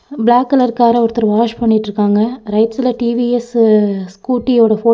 black colour கார ஒருத்தர் wash பண்ணிட்ருக்காங்க ரைட் சைடுல டி_வி_எஸ் ஸ்கூட்டி ஓட போ--